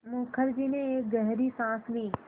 मुखर्जी ने एक गहरी साँस ली